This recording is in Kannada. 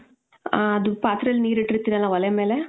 ಆ ಅದು ಪಾತ್ರೇಲ್ ನೀರ್ ಇಟ್ಟಿರ್ತೀರಾ ಅಲ್ಲ ಒಲೆ ಮೇಲೆ,